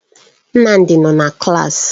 Nnamdi nọ na klaasị.